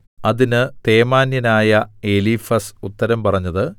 അതിന് തേമാന്യനായ എലീഫസ് ഉത്തരം പറഞ്ഞത്